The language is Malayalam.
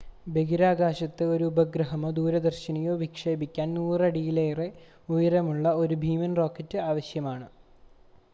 ബഹിരാകാശത്ത് ഒരു ഉപഗ്രഹമോ ദൂരദർശിനിയോ വിക്ഷേപിക്കാൻ 100 അടിയിലേറെ ഉയരമുള്ള ഒരു ഭീമൻ റോക്കറ്റ് ആവശ്യമാണ്